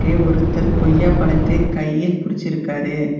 இங்கே ஒருத்தர் கொய்யாப்பழத்தை கையில் புடிச்சிருக்காரு.